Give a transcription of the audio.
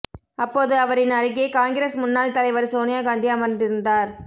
அப்போது அவரின் அருகே காங்கிரஸ் முன்னாள் தலைவர் சோனியா காந்தி அமர்ந்திருந்தார்